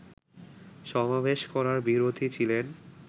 সমাবেশ করার বিরোধী ছিলেন